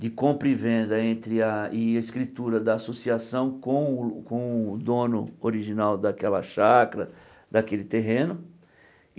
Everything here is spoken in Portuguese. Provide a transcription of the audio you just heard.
de compra e venda entre a escritura da associação com o com o dono original daquela chacra, daquele terreno.